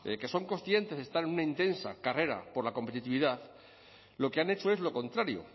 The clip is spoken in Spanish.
que son conscientes de estar en una intensa carrera por la competitividad lo que han hecho es lo contrario